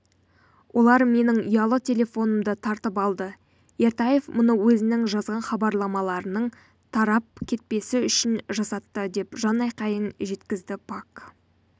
олар менің ұялы телефонымды тартып алды ертаев мұны өзінің жазған хабарламаларының тарап кетпесі үшін жасатты деп жанайқайын жеткізді пак